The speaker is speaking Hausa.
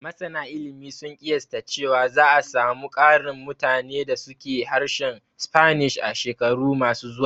Masana ilimi sun ƙiyasta cewa za a samu ƙarin mutane da su ke harshen Spanish a shekaru ma su zuwa